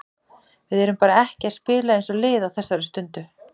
Við erum bara ekki að spila eins og lið á þessari stundu.